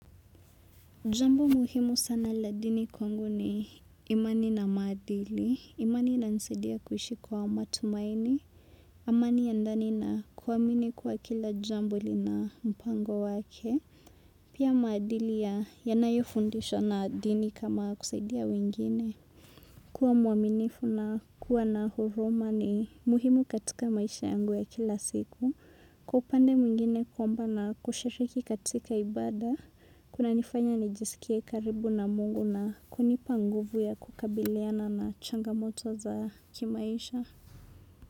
Jambo muhimu sana la dini kwangu ni imani na maadili, imani inanisaidia kuishi kwa matumaini, amani ya ndani na kuamini kuwa kila jambo lina mpango wake, pia maadili ya yanayofundishwa na dini kama kusaidia wengine. Kuwa mwaminifu na kuwa na huruma ni muhimu katika maisha yangu ya kila siku. Kwa upande mwingine kuomba na kushiriki katika ibada. Kunanifanya nijisikie karibu na mungu na kunipa nguvu ya kukabiliana na changamoto za kimaisha.